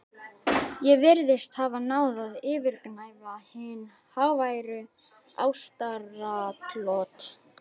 Ég virðist hafa náð að yfirgnæfa hin háværu ástaratlot